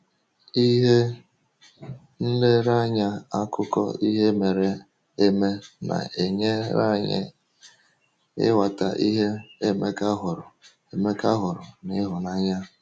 Ihe nlereanya akụkọ ihe mere eme a na-enyere anyị ịghọta ihe Emeka hụrụ Emeka hụrụ n’ịhụnanya.